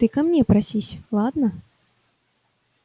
ты ко мне просись ладно